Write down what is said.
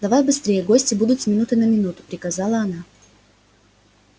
давай быстрее гости будут с минуты на минуту приказала она